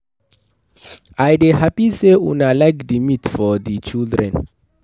I dey happy say una like the meat for the children